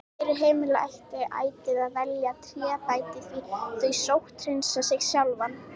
Fyrir heimili ætti ætíð að velja trébretti því þau sótthreinsa sig sjálf.